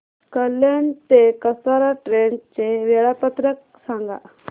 कल्याण ते कसारा ट्रेन चे वेळापत्रक सांगा